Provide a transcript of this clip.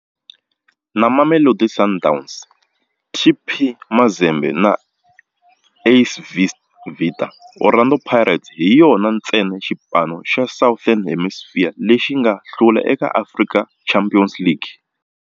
Na Mamelodi Sundowns, TP Mazembe na AS Vita, Orlando Pirates hi yona ntsena xipano xa Southern Hemisphere lexi nga hlula eka African Champions League.